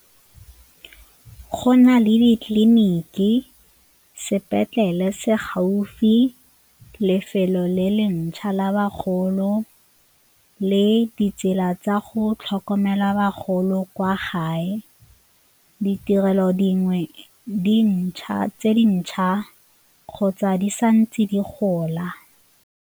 Go na le ditleliniki, sepetlele se gaufi, lefelo le le ntšhwa la bagolo le ditsela tsa go tlhokomela bagolo kwa gae. Ditirelo dingwe tse dintšha kgotsa di sa ntse di gola.